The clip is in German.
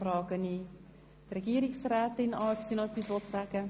Wünscht Regierungsrätin Barbara Egger das Wort nochmals?